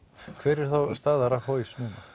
hver er þá staða